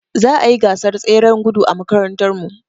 Za a yi gasar tseren gudu a makarantarmu.